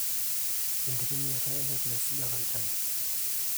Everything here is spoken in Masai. enkitumiata enet naisuja tolchani